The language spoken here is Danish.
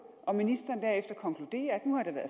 og ministeren derefter konkluderer